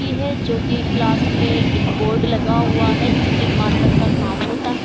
की है जोकि क्लास में एक बोर्ड लगा हुआ है जिसपे मार्कर का काम होता हैं।